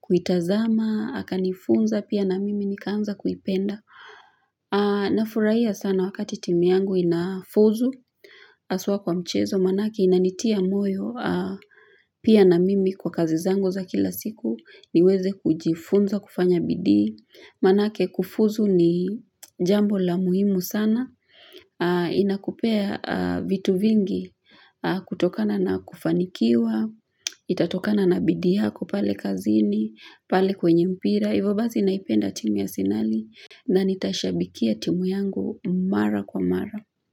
kuitazama, akanifunza pia na mimi nikaanza kuipenda. Nafurahia sana wakati timu yangu inafuzu hasa kwa mchezo manake inanitia moyo pia na mimi kwa kazi zangu za kila siku niweze kujifunza kufanya bidii Manake kufuzu ni jambo la muhimu sana inakupea vitu vingi kutokana na kufanikiwa itatokana na bidii yako pale kazini pale kwenye mpira hivyo basi naipenda timu ya Asenali na nitaishabikia timu yangu mara kwa mara.